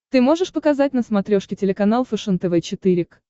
ты можешь показать на смотрешке телеканал фэшен тв четыре к